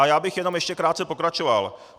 A já bych jenom ještě krátce pokračoval.